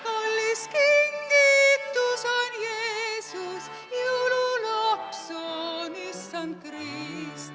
Kallis kingitus on Jeesus, jõululaps on Issand Krist.